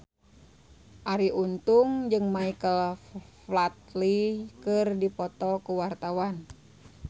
Arie Untung jeung Michael Flatley keur dipoto ku wartawan